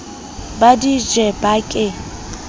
ba di je ba ke